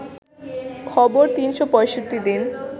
খবর ৩৬৫ দিন